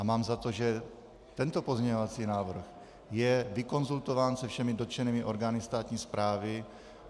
A mám za to, že tento pozměňovací návrh je vykonzultován se všemi dotčenými orgány státní správy.